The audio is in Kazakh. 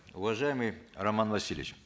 уважаемый роман васильевич